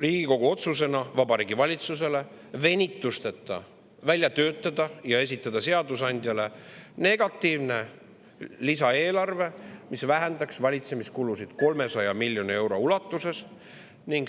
Riigikogu otsusena ettepaneku Vabariigi Valitsusele venitusteta välja töötada ja esitada seadusandjale negatiivne lisaeelarve, mis vähendaks valitsemiskulusid 300 miljoni euro ulatuses.